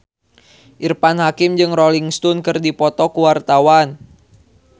Irfan Hakim jeung Rolling Stone keur dipoto ku wartawan